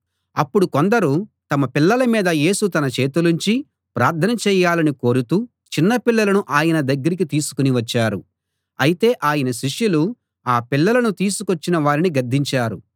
అప్పుడు కొందరు తమ పిల్లల మీద యేసు తన చేతులుంచి ప్రార్థన చేయాలని కోరుతూ చిన్నపిల్లలను ఆయన దగ్గరకి తీసుకుని వచ్చారు అయితే ఆయన శిష్యులు ఆ పిల్లలను తీసుకొచ్చిన వారిని గద్దించారు